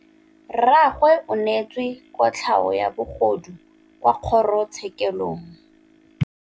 Rragwe o neetswe kotlhaô ya bogodu kwa kgoro tshêkêlông.